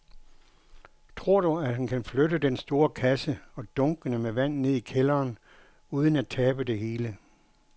Tror du, at han kan flytte den store kasse og dunkene med vand ned i kælderen uden at tabe det hele?